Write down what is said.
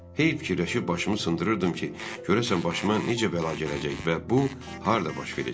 Heyf fikirləşib başımı sındırırdım ki, görəsən başıma necə bəla gələcək və bu harda baş verəcək.